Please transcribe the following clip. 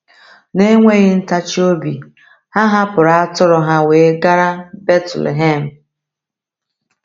Na-enweghị ntachi obi, ha hapụrụ atụrụ ha wee gara Betlehem.